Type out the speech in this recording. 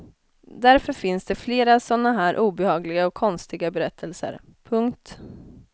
Därför finns det flera såna här obehagliga och konstiga berättelser. punkt